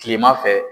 Kilema fɛ